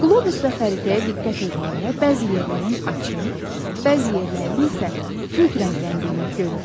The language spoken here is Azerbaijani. Qlobus və xəritəyə diqqət eləyəndə bəzi yerlərin açıq, bəzi yerlərin isə tünd rəngləndiyini görürük.